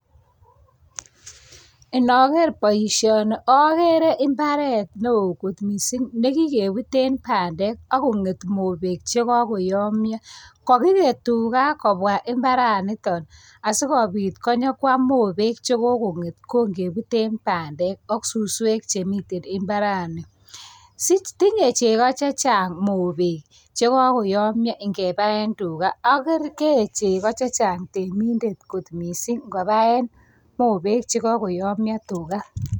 Inager boisioni agere imbaret neo kot mising ne kigebuten bandek ak konget mobek che kagoyomyo. Kagiget tuga kobwa imbaranito asigopit konyokwam mobek che kogonget kongebuten bandek ak suswek che miten imbarani. Si, tinye chego chang mobek che kagoyomyo ingebaen tuga ak kee chego che chang temindet kot mising ngot kobaen mobek che kagoyomyo, tuga.